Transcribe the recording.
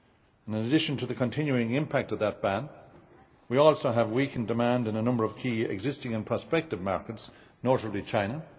In addition to the continuing impact of that ban, we also have weakening demand in a number of key existing and prospective markets, notably China